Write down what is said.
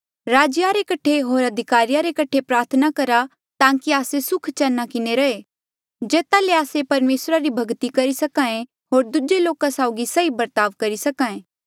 राजेया रे कठे होर अधिकारिया रे कठे प्रार्थना करहा ताकि आस्से सुखचैना किन्हें रहे जेता ले आस्से परमेसरा री भक्ति करी सके होर दूजे लोका साउगी सही बर्ताव करी सके